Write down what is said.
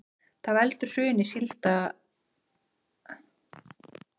Hvað veldur hruni sandsílanna